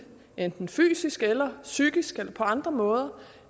enten fysisk eller psykisk eller på andre måder